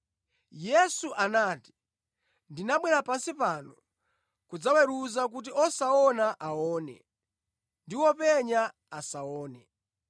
Yesu anati, “Ndinabwera pansi pano kudzaweruza kuti osaona aone ndi openya asaone.”